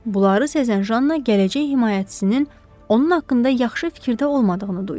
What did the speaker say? Bunları sezən Janna gələcək himayəçisinin onun haqqında yaxşı fikirdə olmadığını duydu.